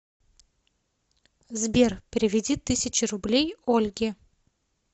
сбер переведи тысячу рублей ольге